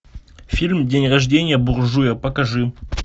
фильм день рождения буржуя покажи